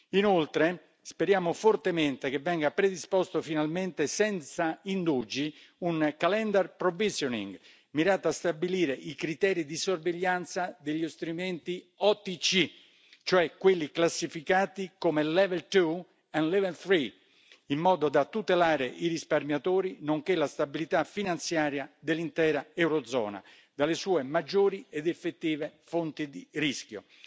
Inoltre, speriamo fortemente che venga predisposto finalmente senza indugi un calendar provisioning mirato a stabilire i criteri di sorveglianza degli strumenti OTC, cioè quelli classificati come level 2 e level 3 in modo da tutelare i risparmiatori, nonché la stabilità finanziaria dell'intera Eurozona dalle sue maggiori ed effettive fonti di rischio.